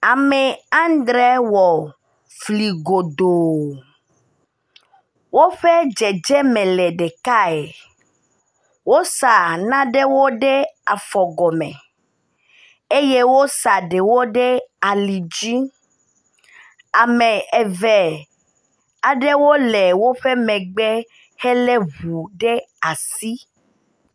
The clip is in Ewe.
Ame aŋdre wɔ fli godoo, woƒe dzedzeme le ɖekae. Wosa naɖewo ɖe afɔ gɔme eye wosa ɖewo ɖe ali dzi, ame eve aɖewo le woƒe megbe hele ʋu ɖe asi.